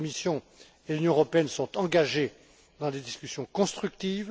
La Commission et l'Union européenne sont engagées dans des discussions constructives.